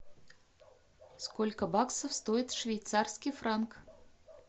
сколько баксов стоит швейцарский франк